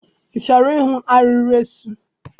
I chọrọ ịhụ arịrị eso?